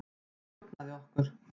Hann stjórnaði okkur.